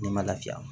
Ne ma lafiya